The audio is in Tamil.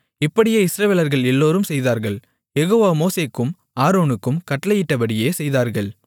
இப்படியே இஸ்ரவேலர்கள் எல்லோரும் செய்தார்கள் யெகோவா மோசேக்கும் ஆரோனுக்கும் கட்டளையிட்டபடியே செய்தார்கள்